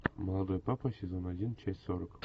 молодой папа сезон один часть сорок